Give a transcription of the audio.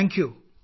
ഉടൻ കാണാം